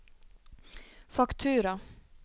faktura